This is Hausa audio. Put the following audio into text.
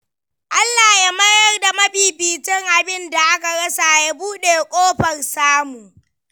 Allah ya mayar da mafificin abinda aka rasa, ya buɗe kofar samu.